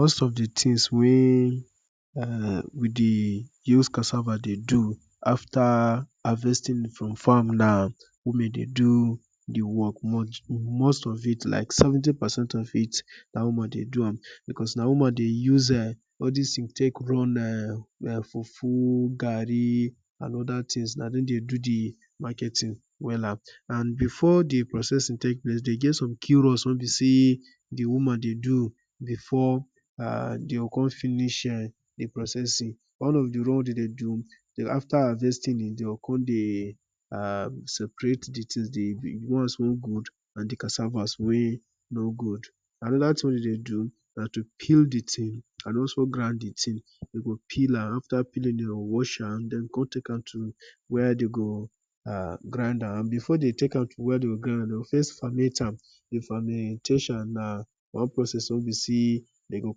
Most of the thing weh we de use Cassava de do after harvesting it from farm na women de do the work much, most of it like 70 percent of it na woman de do am because na woman de use all this thing take run fufu, garri and other things, na them de do the marketing wella and before the processing take place e get some quick roles weh be say the woman de do before them go come finish the processing. One of the role them de do na after harvesting they go come separate the ones weh good from the cassava weh no good. Another thing them de do na to peel the thing and also grind the thing. Them go peel and after peeling, them go wash am then they go come take am to where they go grind am. Before them take am to where they go grind am, they go first ferment am. The fermentation na one process weh be say them go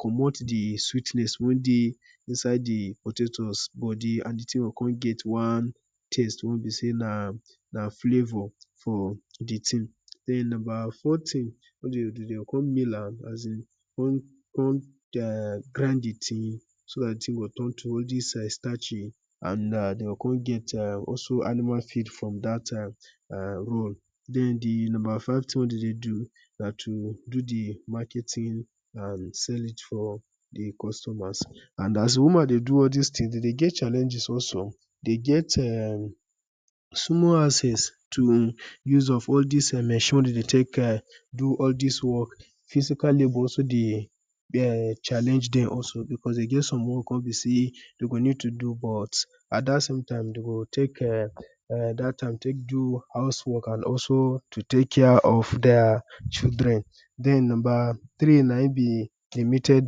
comot the sweetness weh dey inside the potatoes and the thing go come get one taste like say na flavor for the thing. The number four thing weh them dey do be say them go mill am as in come grind the thing so the thing go come turn to one starchy and them go also get animal feed from that role. The number five them de do na to do the marketing and to sell it for customers, and as woman de do all these things them de get challenges also, they get ehmmm small access to use of all these these machines weh them de take do all these work physically and also challenge them because e get some work weh be say they go need to do but the same time they go need to do house work and also take care of their children. Then number three na him be limited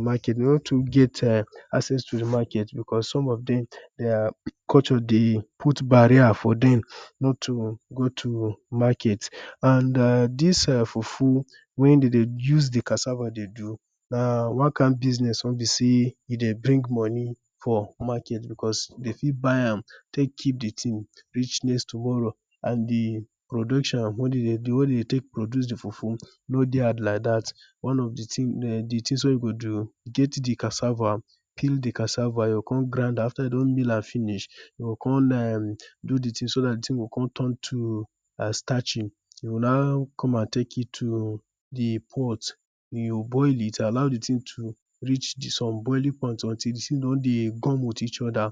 market, them no to get access to market because some of them their culture dey de put barrier for them not to go to market, and this fufu weh them de use cassava de do na one kind business weh be say e de bring money for market because they fit buy am take keep the thing reach next tomorrow and the production weh them de take dey produce the fufu no de hard like that. One of the things weh you go do, get the cassava, peel the cassava, you go come grind am, after you don mill am finish so the thing go come turn am to starchy, you’ll now come and take it to the pot, you’ll boil it, allow the thing to reach some boiling point until the thing don de gum with each other,